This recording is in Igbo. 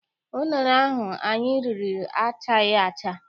Unere ahụ anyị riri achaghị acha.